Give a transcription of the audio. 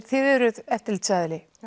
þið eruð eftirlitsaðili